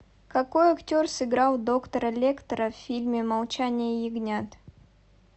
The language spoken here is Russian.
какой актер сыграл доктора лектера в фильме молчание ягнят